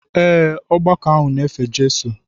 Ee, ọgbakọ ahụ na-efe Jizọs.